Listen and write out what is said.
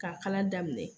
K'a kala daminɛ